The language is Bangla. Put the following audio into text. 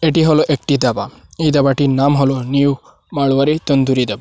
এটি হলো একটি ধাবা এই ধাবাটির নাম হলো নিউ মারওয়ারী তন্দুরি ধাবা।